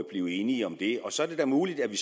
blive enige om det så er det da muligt at vi